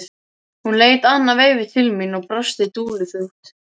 Hún leit annað veifið til mín og brosti dulúðugt.